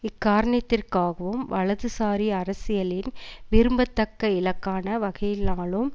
இக்காரணித்திற்காகவும் வலதுசாரி அரசியலின் விரும்பத்தக்க இலக்கான வகையினாலும்